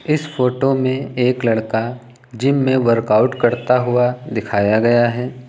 इस फोटो में एक लड़का जिम में वर्कआउट करता हुआ दिखाया गया है।